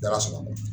Ala sɔnna